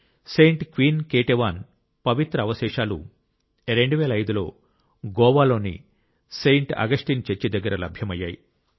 Saint Queen Ketevan పవిత్ర అవశేషాలు 2005 లో గోవాలోని సెయింట్ అగస్టిన్ చర్చి దగ్గర లభ్యమయ్యాయి